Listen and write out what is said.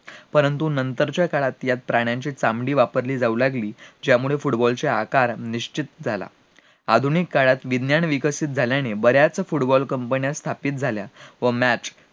परंतु नंतर च्या काळात यात प्राण्यांची कातळी वापरली जाऊ लागली ज्यामुळे football चे आकार निश्चित झाला आधुनिक काळात विज्ञान विकसित झाल्याने बऱ्याच football कंपन्या स्थापित झाल्या व match